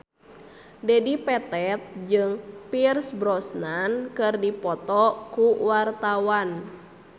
Dedi Petet jeung Pierce Brosnan keur dipoto ku wartawan